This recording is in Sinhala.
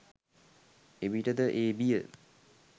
එවිට ද ඒ බිය